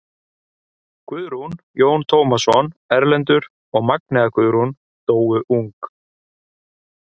Guðrún, Jón Tómasson, Erlendur og Magnea Guðrún dóu ung.